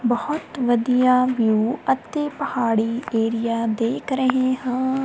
ਬਹੁਤ ਵਧੀਆ ਵਿਊ ਅਤੇ ਪਹਾੜੀ ਏਰੀਆ ਦੇਖ ਰਹੇ ਹਾਂ।